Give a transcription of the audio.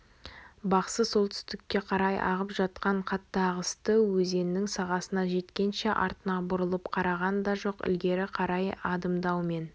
бақсы солтүстікке қарай ағып жатқан қатты ағысты өзеннің сағасына жеткенше артына бұрылып қараған да жоқ ілгері қарай адымдаумен